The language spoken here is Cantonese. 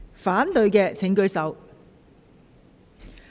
反對的請舉手。